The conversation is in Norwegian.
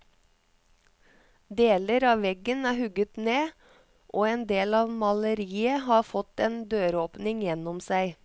Deler av veggen er hugget ned, og en del av maleriet har fått en døråpning gjennom seg.